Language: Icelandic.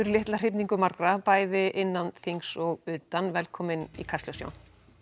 litla hrifningu margra bæði innan þings og utan velkominn í Kastljós Jón